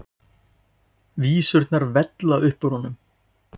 Vísurnar vella upp úr honum.